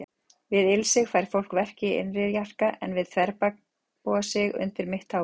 Við ilsig fær fólk verki í innri jarka, en við þverbogasig undir mitt tábergið.